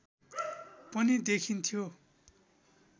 पनि देखिन्थ्यो